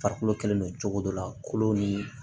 Farikolo kɛlen do cogo dɔ la kolo ni